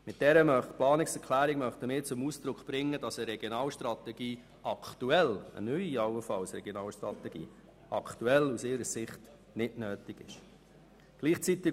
Mit dieser Planungserklärung möchten wir zum Ausdruck bringen, dass eine Regionalstrategie aktuell, allenfalls auch eine neue Regionalstrategie, aus ihrer Sicht nicht nötig ist.